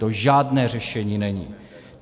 To žádné řešení není.